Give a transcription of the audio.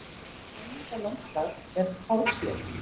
Slíkt menningarlandslag er fáséð.